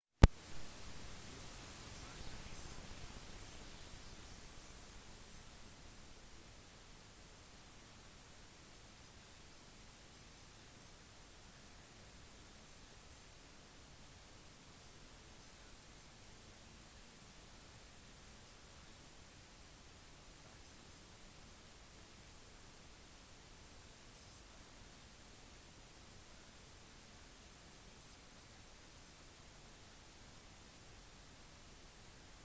mughal-imperiet blandet seg ikke inn i samfunnskultur og tradisjoner i det meste av sin eksistens men heller balanserte og pasifiserte dem gjennom nye administrative praksiser og mangfoldige og inkluderende styrende eliter som førte til mer systematiske sentraliserte og uniformerte regler